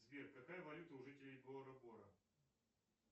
сбер какая валюта у жителей бора бора